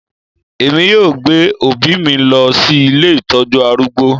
Èmi yóò gbé òbí mi lọ sí ilé ìtọ́jú arúgbó